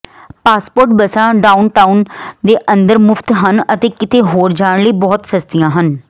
passport ਬੱਸਾਂ downtown ਦੇ ਅੰਦਰ ਮੁਫਤ ਹਨ ਅਤੇ ਕਿਤੇ ਹੋਰ ਜਾਣ ਲਈ ਬਹੁਤ ਸਸਤੀਆਂ ਹਨ